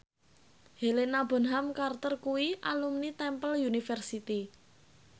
Helena Bonham Carter kuwi alumni Temple University